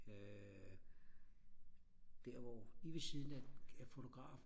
der hvor lige ved siden af fotografen